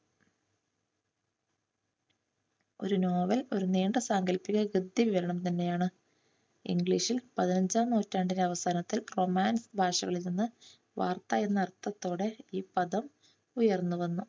ഒരു നോവൽ ഒരു നീണ്ട സാങ്കല്പിക ഗദ്ദീകരണം തന്നെയാണ്. ഇംഗ്ലീഷിൽ പതിനഞ്ചാം നൂറ്റാണ്ടിന്റെ അവസാനത്തിൽ കൊമാൻസ് ഭാഷകളിൽ നിന്ന് വാർത്ത എന്ന അർത്ഥത്തോടെ ഈ പദം ഉയർന്ന് വന്നു.